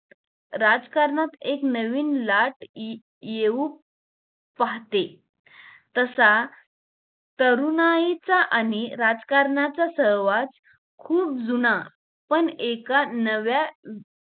राजकारणात एक नवीन लाट इ येऊ पाहते तसा तरुणाईचा आणि राजकारणाचा सहवास खुप जुना पण एका नव्या